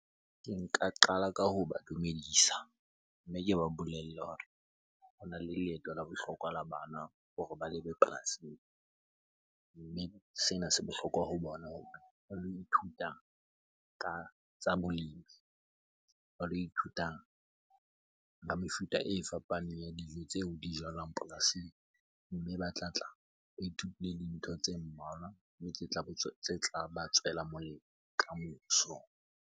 Ke nka qala ka hoba dumedisa, mme ke ba bolelle hore hona le leeto la bohlokwa la bana hore ba lebe polasing. Mme sena se bohlokwa ho bona hore ba lo ithuta ka tsa bolemi, ba lo ithuta ka mefuta e fapaneng ya dijo tseo di jalwang polasing. Mme ba tlatla ba ithutile dintho tse mmalwa mme tla ba tswela molemo kamoso.